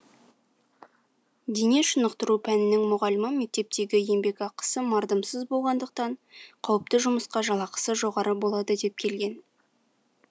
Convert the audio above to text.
дене шынықтыру пәнінің мұғалімі мектептегі еңбекақысы мардымсыз болғандықтан қауіпті жұмысқа жалақысы жоғары болады деп келген